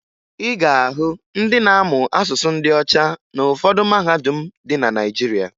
Ị ga-ahụ ndị na-amụ asụsụ ndị ọcha na ụfọdụ mahadum dị na Naịjirịa.